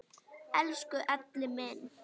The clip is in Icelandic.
Elsku Elli minn.